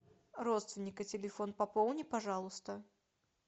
родственника телефон пополни пожалуйста